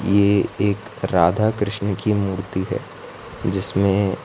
ये एक राधा कृष्ण की मूर्ति है जिसमें --